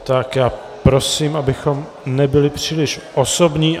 Tak já prosím, abychom nebyli příliš osobní.